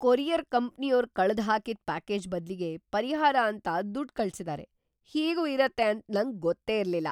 Courier ಕಂಪ್ನಿಯೋರ್ ಕಳ್ದ್ ಹಾಕಿದ್ ಪ್ಯಾಕೇಜ್ ಬದ್ಲಿಗೆ ಪರಿಹಾರ ಅಂತ ದುಡ್ಡ್‌ ಕಳ್ಸಿದಾರೆ! ಹೀಗೂ ಇರತ್ತೆ ಅಂತ ನಂಗ್‌ ಗೊತ್ತೇ ಇರ್ಲಿಲ್ಲ.